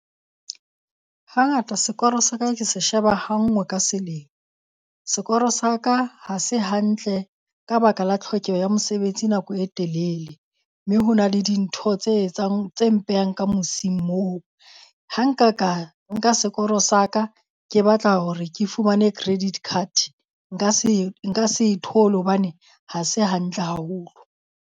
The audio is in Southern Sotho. Hangata sekoro sa ka ke se sheba ha ngwe ka selemo. Sekoro sa ka ha se hantle ka baka la tlhokeho ya mosebetsi nako e telele, mme ho na le dintho tse etsang tse mpehang ka mosing moo. Ha nka ka nka sekoro sa ka ke batla hore ke fumane credit card nka se nka se e thole hobane ha se hantle haholo.